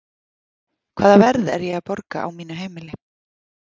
Hvaða verð er ég að borga á mínu heimili?